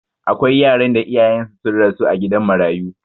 Akwai yaran da iyayensu sun rasu a gidan marayu.